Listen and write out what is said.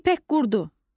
İpək qurdu.